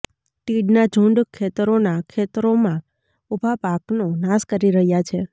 તીડના ઝુંડ ખેતરોનાં ખેતરોમાં ઉભા પાકનો નાશ કરી રહ્યા છે